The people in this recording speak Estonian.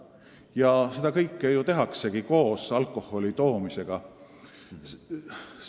Ja kõiki neid võimalusi kasutatakse lisaks alkoholi ostmisele.